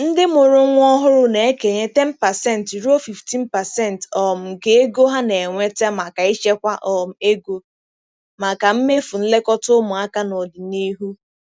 Ndị mụrụ nwa ọhụrụ na-ekenye 10% ruo 15% um nke ego ha na-enweta maka ịchekwa um ego maka mmefu nlekọta ụmụaka n'ọdịnihu.